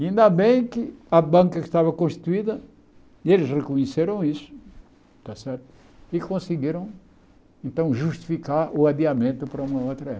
Ainda bem que a banca que estava constituída, eles reconheceram isso, está certo e conseguiram, então, justificar o adiamento para uma outra época.